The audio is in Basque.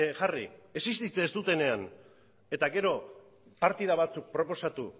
jarri existitzen ez dutenean eta gero partida batzuk proposatu